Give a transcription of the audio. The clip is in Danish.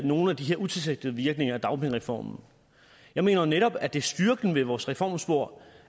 nogle af de utilsigtede virkninger af dagpengereformen jeg mener jo netop at det er styrken ved vores reformspor